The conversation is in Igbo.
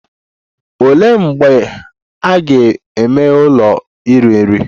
Olee mgbe a ga-emeghe ụlọ iri nri?